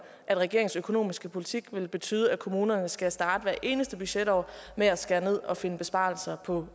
at regeringens økonomiske politik vil betyde at kommunerne skal starte hvert eneste budgetår med at skære ned og finde besparelser på